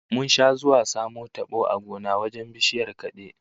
Mun sha zuwa mu samo tabo a gona wajen bishiyar kade